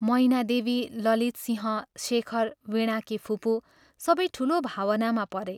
मैनादेवी, ललितसिंह, शेखर, वीणाकी फुपू सबै ठूलो भावनामा परे।